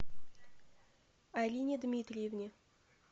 арине дмитриевне